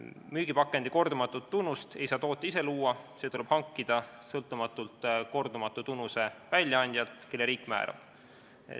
Müügipakendi kordumatut tunnust ei saa tootja ise luua, see tuleb hankida sõltumatult kordumatute tunnuste väljaandjalt, kelle riik määrab.